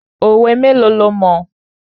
Òwe méèlo lo mọ̀?